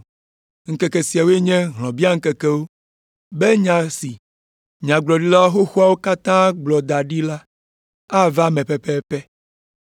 Ŋkeke siawoe nye hlɔ̃biaŋkekewo be nya si nyagblɔɖila xoxoawo katã gblɔ da ɖi la ava eme pɛpɛpɛ.